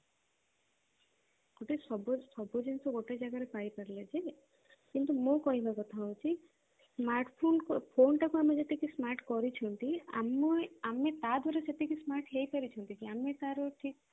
ଗୋଟେ ସବୁ ସବୁ ଜିନିଷ ଗୋଟେ ଜାଗାରେ ପାଇ ପାରିଲେ ଯେ କିନ୍ତୁ ମୋ କହିବା କଥା ହଉଛି smartphone phone ଟାକୁ ଆମେ ଯେତିକି smart କରିଛନ୍ତି ଆମେ ତା ଧୀରେ ସେତିକି smart ହେଇ ପାରିଛନ୍ତି କି ଆମେ ତାର ଠିକ ସେ